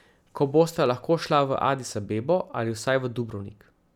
Ko bosta lahko šla v Adis Abebo ali vsaj v Dubrovnik.